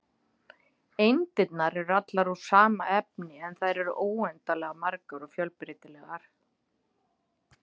Eindirnar eru allar úr sama efni, en þær eru óendanlega margar og fjölbreytilegar.